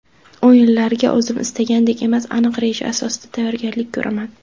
O‘yinlarga o‘zim istagandek emas, aniq reja asosida tayyorgarlik ko‘raman.